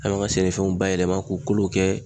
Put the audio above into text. An kan ka sɛnɛfɛnw bayɛlɛma k'o kolow kɛ